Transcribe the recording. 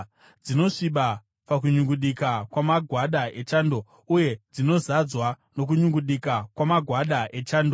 dzinosviba pakunyungudika kwamagwada echando, uye dzinozadzwa nokunyungudika kwamagwada echando,